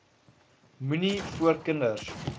moenie voor kinders